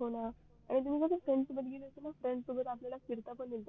होण आणि तू friends सोबत गेली होती ना friends सोबत फिरता पण येत